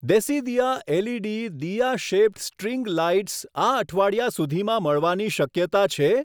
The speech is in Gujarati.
Desidiya LED diya shaped string lights આ અઠવાડિયા સુધીમાં મળવાની શક્યતા છે?